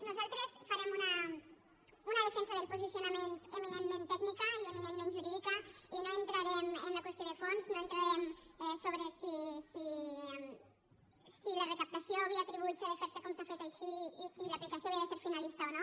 nosaltres farem una defensa del posicionament eminentment tècnica i eminentment jurídica i no entrarem en la qüestió de fons no entrarem sobre si la recaptació via tributs ha de fer se com s’ha fet així i si l’aplicació havia de ser finalista o no